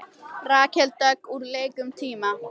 Rakel Dögg úr leik um tíma